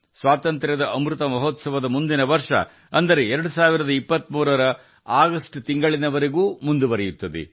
ಆಜಾದಿ ಕಾ ಅಮೃತ್ ಮಹೋತ್ಸವವು ಮುಂದಿನ ವರ್ಷ ಅಂದರೆ ಆಗಸ್ಟ್ 2023 ರವರೆಗೆ ಮುಂದುವರಿಯುತ್ತದೆ